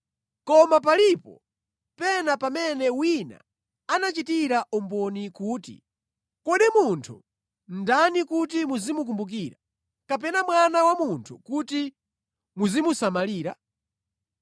Koma palipo pena pamene wina anachitira umboni kuti, “Kodi munthu ndani kuti muzimukumbukira, kapena mwana wa munthu kuti muzimusamalira?